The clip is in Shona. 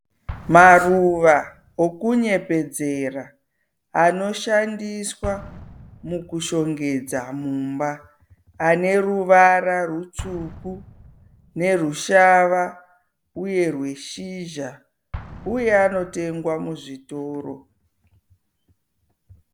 Maruva okunyepedzera anoshandiswa mukushongedza mumba. Ane ruvara rutsvuku nerushava uye rweshizha uye anotengwa muzvitoro.